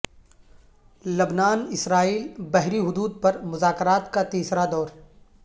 لبنان اسرائیل بحری حدود پر مذاکرات کا تیسرا دور